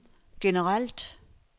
generelt